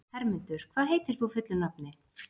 Hermundur, hvað heitir þú fullu nafni?